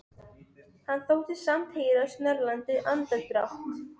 Hann þóttist samt heyra snörlandi andardrátt.